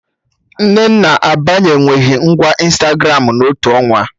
Nnenna abanye nweghị ngwa Ịnstagramụ na otu ọnwa